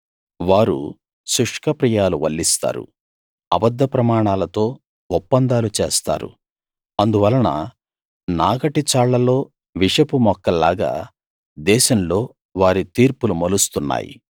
వారు శుష్కప్రియాలు వల్లిస్తారు అబద్ధ ప్రమాణాలతో ఒప్పందాలు చేస్తారు అందువలన నాగటి చాళ్లలో విషపు మొక్కలాగా దేశంలో వారి తీర్పులు మొలుస్తున్నాయి